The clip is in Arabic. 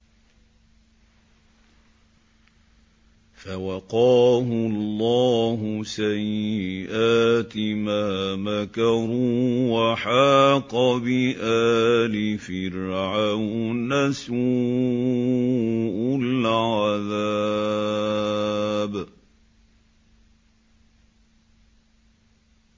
فَوَقَاهُ اللَّهُ سَيِّئَاتِ مَا مَكَرُوا ۖ وَحَاقَ بِآلِ فِرْعَوْنَ سُوءُ الْعَذَابِ